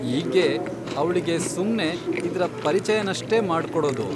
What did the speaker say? ಈಗ್ಗೆ ಅವ್ಳಿಗೆ ಸುಮ್ನೆ ಇದ್ರ ಪರಿಚಯನಷ್ಟೇ ಮಾಡ್ಕೊಡೋದು.